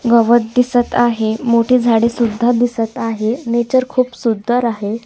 गवत दिसत आहे मोठे झाडे सुद्धा दिसत आहे नेचर खूप सुंदर आहे.